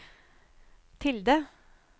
tilde